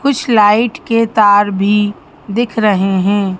कुछ लाइट के तार भी दिख रहे हैं।